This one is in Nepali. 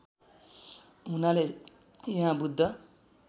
हुनाले यहाँ बुद्ध